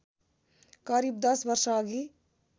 करिव १० वर्षअघि